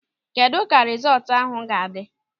Kedụ ka rizọọtụ ahụ ga-adị?